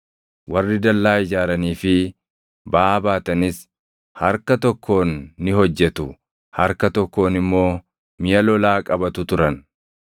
warri dallaa ijaaranii fi baʼaa baatanis harka tokkoon ni hojjetu, harka tokkoon immoo miʼa lolaa qabatu turan;